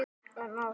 En ást?